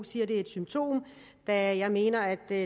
siger at det er et symptom da jeg mener at det